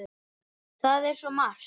Það er svo margt!